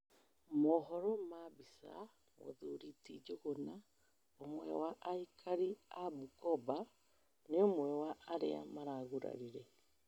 mohoro ma mbica, mũthuri ti njuguna, ũmwe wa aikari a Bukoba, nĩ ũmwe wa arĩa maragurarire